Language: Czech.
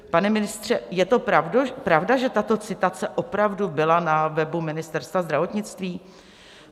Pane ministře, je to pravda, že tato citace opravdu byla na webu Ministerstva zdravotnictví?